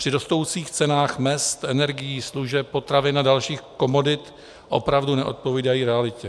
Při rostoucích cenách mezd, energií, služeb, potravin a dalších komodit opravdu neodpovídají realitě.